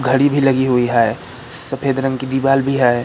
घड़ी भी लगी हुई है। सफेद रंग की दीवाल भी है।